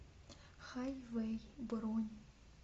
хайвей бронь